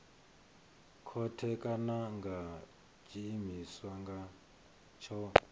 khothe kana nga tshiimiswa tsho